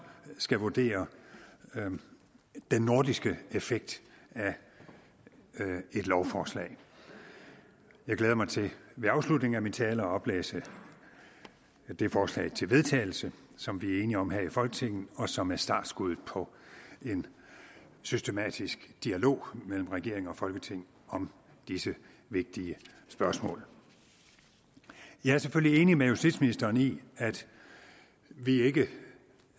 skal vurdere den nordiske effekt af et lovforslag jeg glæder mig til ved afslutningen af min tale at oplæse det forslag til vedtagelse som vi er enige om her i folketinget og som er startskuddet på en systematisk dialog mellem regeringen og folketinget om disse vigtige spørgsmål jeg er selvfølgelig enig med justitsministeren i at vi ikke